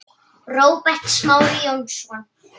Róbert Smári Jónsson